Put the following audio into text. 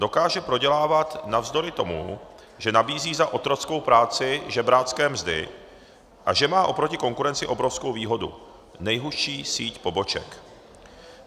Dokáže prodělávat navzdory tomu, že nabízí za otrockou práci žebrácké mzdy a že má oproti konkurenci obrovskou výhodu - nejhustší síť poboček.